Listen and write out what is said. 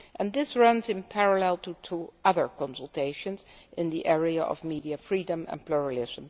This runs in parallel with two other consultations in the area of the media freedom and pluralism.